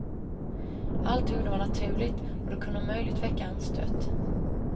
Allt hon gjorde var naturligt, och det kunde omöjligt väcka anstöt.